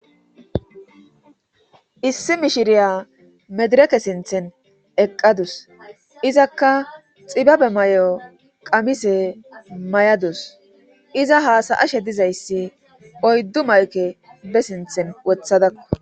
issi mishiriya medireke sinthen eqqadus izakka xibabe may7o qamise may7adus iza haasayashe dizayssi oyddu mayke be sinthen wothadakko